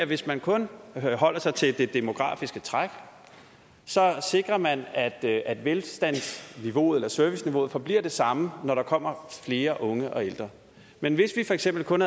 hvis man kun holder sig til det demografiske træk sikrer man at at velstandsniveauet eller serviceniveauet forbliver det samme når der kommer flere unge og ældre men hvis vi for eksempel kun